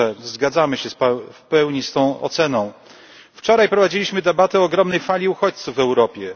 Zgadzamy się w pełni z tą oceną. Wczoraj prowadziliśmy debatę o ogromnej fali uchodźców w Europie.